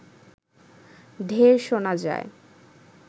ঢেড় শোনা যায়